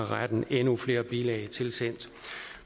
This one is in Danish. retten endnu flere bilag tilsendt